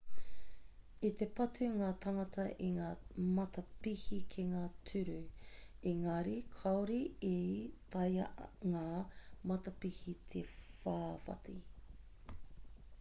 i te patu ngā tāngata i ngā matapihi ki ngā tūru engari kāore i taea ngā matapihi te whawhati